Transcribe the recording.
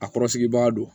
A kɔrɔsigibaa don